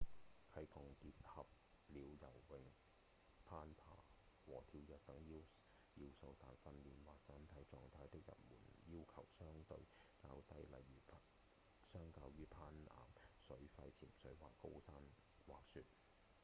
溪降結合了游泳、攀爬和跳躍等要素但訓練或身體狀態的入門要求相對較低例如相較於攀岩、水肺潛水或高山滑雪